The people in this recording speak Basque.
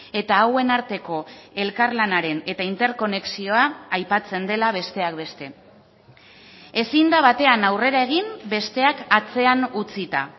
eta hauen arteko elkarlanaren eta interkonexioa aipatzen dela besteak beste ezin da batean aurrera egin besteak atzean utzita